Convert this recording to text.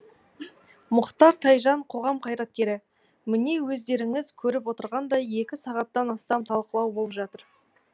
мұхтар тайжан қоғам қайраткері міне өздеріңіз көріп отырғандай екі сағаттан астам талқылау болып жатыр